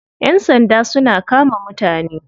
Yan sanda suna kama mutane.